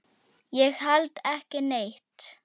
Ég held ekki neitt.